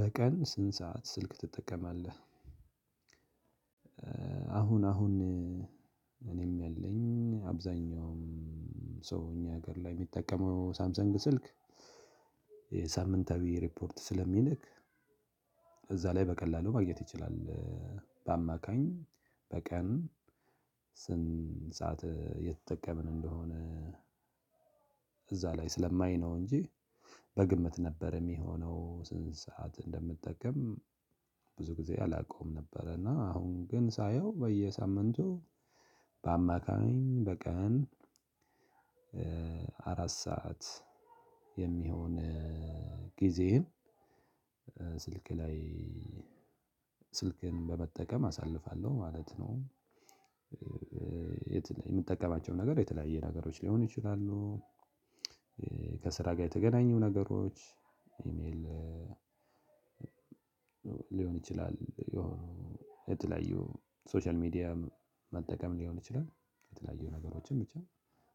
በቀን ስንት ሰዓት ስልክ ትጠቀማለህ? አሁን አሁን እኔም ያለኝ አብዛኛውም ሰው እኛ ሀገር ላይ የሚጠቀመው ሳምሰንግ ስልክ የሳምንታዊ ሪፖርት ስለሚልክ እዛ ላይ በቀላሉ ማግኘት ይችላል። በአማካኝ በቀን ስንት ሰዓት የተጠቀምን እንደሆነ እዛ ላይ ስለማይ ነው እንጂ በግምት ነበር የሚሆነው ስንት ሰዓት እንደምጠቀም። ብዙ ጊዜ አላውቀውም ነበረ እና አሁን ግን ሳየው በየሳምንቱ በአማካኝ በቀን አራት ሰዓት የሚሆን ጊዜዬን ስልኬ ላይ ስልኬን በመጠቀም አሳልፋለሁ ማለት ነው። የምጠቀማቸው ነገር የተለያየ ነገሮች ሊሆኑ ይችላሉ። ከስራ ጋር የተገናኙ ነገሮች ኢሜል ሊሆን ይችላል። የተለያዩ ሶሻል ሚዲያ መጠቀም ሊሆን ይችላል። የተለያዩ ነገሮችን ብቻ